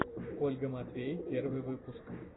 ольга матвей первый выпуск